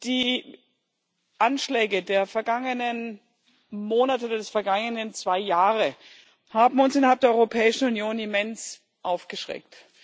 Die Anschläge der vergangenen Monate, der vergangenen zwei Jahre, haben uns innerhalb der Europäischen Union immens aufgeschreckt.